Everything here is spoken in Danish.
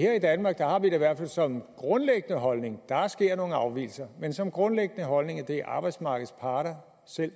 her i danmark har vi det i hvert fald som grundlæggende holdning der sker nogle afvigelser men som grundlæggende holdning at det er arbejdsmarkedets parter selv